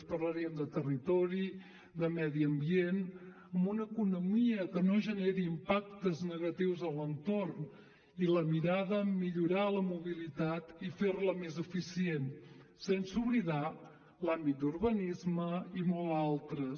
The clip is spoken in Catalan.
parlaríem de territori de medi ambient amb una economia que no generi impactes negatius a l’entorn i la mirada en millorar la mobilitat i fer la més eficient sense oblidar l’àmbit d’urbanisme i molts altres